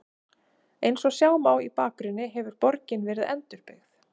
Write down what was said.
Eins og sjá má í bakgrunni hefur borgin verið endurbyggð.